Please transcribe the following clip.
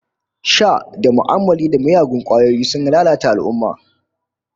Sha da tu'ammali da miyagun kwayoyi sun lalata al'ummah